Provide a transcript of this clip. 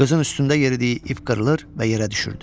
Qızın üstündə yeridiyi ip qırılır və yerə düşürdü.